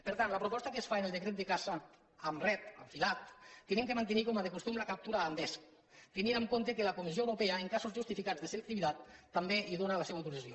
per tant la proposta que es fa en el decret de caça amb ret el filat és que hem de mantenir com a costum la captura amb vesc tenint en compte que la comissió europea en casos justificats de selectivitat també hi dóna la seva autorització